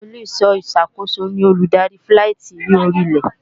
Ilé-ìṣọ́ ìsàkóso ni olùdarí fíláìtí ní orí ilẹ̀